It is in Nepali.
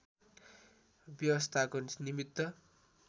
व्यवस्थाको निमित्त